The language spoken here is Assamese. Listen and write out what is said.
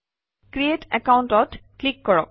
ক্ৰিএট Account অত ক্লিক কৰক